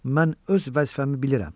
Mən öz vəzifəmi bilirəm.